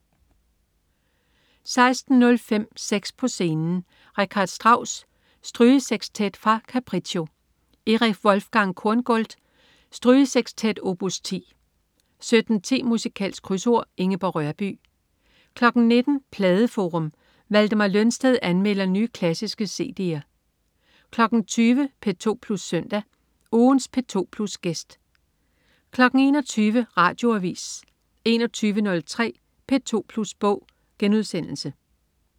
16.05 Seks på scenen. Richard Strauss: Strygesekstet fra Capriccio. Erich Wolfgang Korngold: Strygesekstet, opus 10 17.10 Musikalsk Krydsord. Ingeborg Rørbye 19.00 Pladeforum. Valdemar Lønsted anmelder nye, klassiske cd'er 20.00 P2 Plus Søndag. Ugens P2 Plus-gæst 21.00 Radioavis 21.03 P2 Plus Bog*